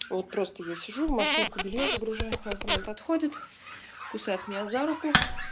вот просто я сижу в машинку бельё загружаю он ко мне подходит кусает меня за руку